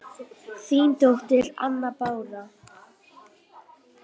Þín dóttir, Anna Bára.